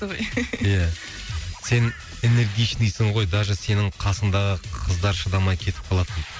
ия сен энергичныйсың ғой даже сенің қасыңдағы қыздар шыдамай кетіп қалады дейді